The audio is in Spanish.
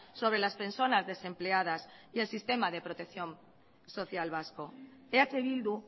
sobre las personas desempleadas y el sistema de protección social vasco eh bildu